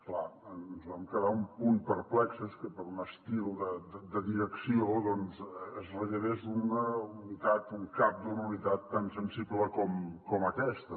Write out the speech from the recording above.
clar ens vam quedar un punt perplexos que per un estil de direcció doncs es rellevés un cap d’una unitat tan sensible com aquesta